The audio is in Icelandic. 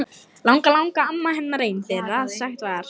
Langalangamma hennar ein þeirra að sagt var.